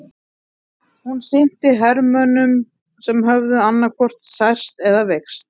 Hún sinnti hermönnum sem höfðu annaðhvort særst eða veikst.